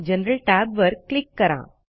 general tab वर click करा